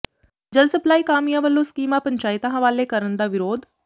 ਜਲ ਸਪਲਾਈ ਕਾਮਿਆਂ ਵਲੋਂ ਸਕੀਮਾਂ ਪੰਚਾਇਤਾਂ ਹਵਾਲੇ ਕਰਨ ਦਾ ਵਿਰੋਧ